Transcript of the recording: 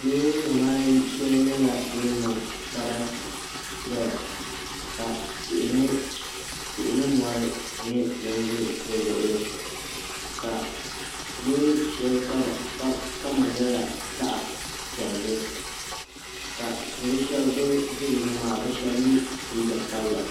Loori nim ayi shɛli nyɛla din niŋ sarati ʒɛya ka tihi ni mɔri nyɛ din ʒɛ di luɣuli ka loori shɛli kama nyɛla zaɣ piɛlli ka salo shab bin ʒi dinni maa bi shab yɛ liiga sabila